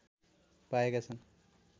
पाएका छन्